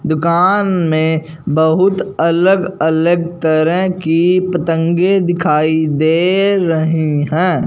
दुकान में बहुत अलग-अलग तरह की पतंगें दिखाई दे रही है।